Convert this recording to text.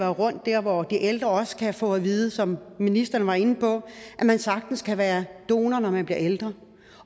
rundt der hvor de ældre også kan få at vide som ministeren var inde på at man sagtens kan være donor når man bliver ældre